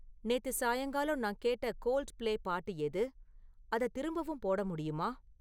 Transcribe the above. நேத்து சாயங்காலம் நான் கேட்ட கோல்ட்பிளே பாட்டு எது, அத திரும்பவும் போட முடியுமா?